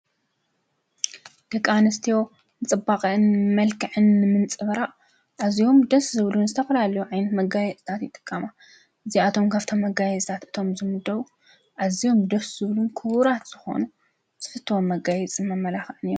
ዮየድቃንስትዎንጽባቕን መልከዕን ምንጽበራ እዚዎም ድስ ዝብሉን ዝተፍላልዩ ኣይን መጋይ እዛት ይጥቃማ እዚኣቶም ካብተ መጋይ ዛት እቶም ዝሙደዉ ኣዚዎም ድርስ ዝብሉን ክውራት ዝኾኑ ስፍቶ መጋይ ጽመመላኻን ።